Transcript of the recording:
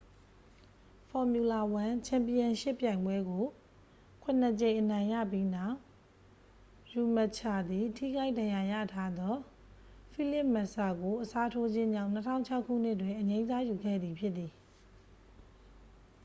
formula 1 ချန်ပီယံရှစ် ပြိုင်ပွဲကို ခုနှစ်ကြိမ် အနိုင်ရပြီးနောက် ရှူမက်ချာသည် ထိခိုက်ဒဏ်ရာရထားသော ဖိလစ်မက်ဆာကို အစားထိုးခြင်းကြောင့် 2006 ခုနှစ်တွင် အငြိမ်းစားယူခဲ့သည့် ဖြစ်သည်